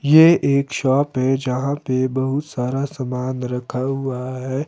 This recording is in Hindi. ये एक शॉप है जहां पे बहुत सारा समान रखा हुआ है।